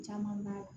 Caman b'a la